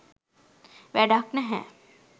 වැඩක් නැහැ